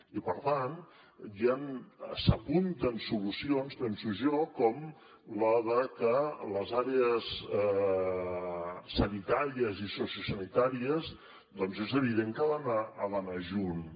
i per tant ja s’apunten solucions penso jo com la de que les àrees sanitàries i sociosanitàries doncs és evident que han d’anar juntes